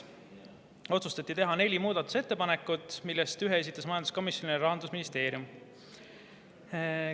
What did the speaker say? Otsustati teha neli muudatusettepanekut, millest ühe esitas majanduskomisjonile Rahandusministeerium.